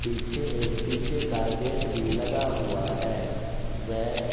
पीछे एक शिशे का एक गेट भी लगा हुआ है वेह--